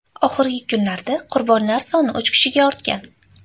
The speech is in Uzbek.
Oxirgi kunlarda qurbonlar soni uch kishiga ortgan.